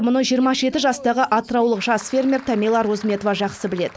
мұны жиырма жеті жастағы атыраулық жас фермер тамила розметова жақсы біледі